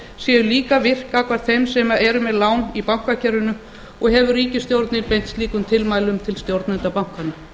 séu líka virk gagnvart þeim sem eru með lán í bankakerfinu og hefur ríkisstjórnin beint slíkum tilmælum til stjórnenda bankanna